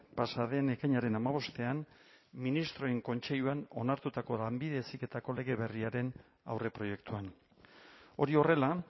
pasa den ekainaren hamabostean ministroen kontseiluan onartutako lanbide heziketako lege berriaren aurreproiektuan hori horrela